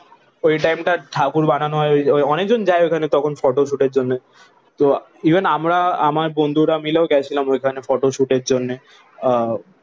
ওই টাইমটা ঠাকুর বানানো হয়। ওই ওই অনেকজন যায় ওখানে তখন ফটোশুটের জন্যে। তো ইভেন আমরা আমার বন্ধুরা মিলেও গেছিলাম ওইখানে ফটোশুটের জন্যে।